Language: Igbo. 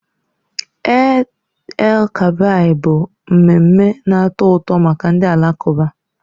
Eid_el Kabir bụ mmemme na-atọ ụtọ maka ndị Alakụba.